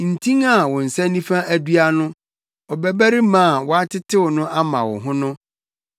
ntin a wo nsa nifa adua no, ɔbabarima a woatetew no ama wo ho no.